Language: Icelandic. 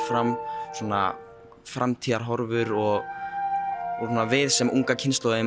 fram framtíðarhorfur og við sem unga kynslóðin